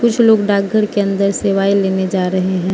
कुछ लोग डाकघर के अंदर सेवाएं लेने जा रहे हैं।